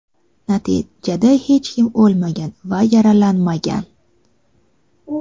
natijada hech kim o‘lmagan va yaralanmagan.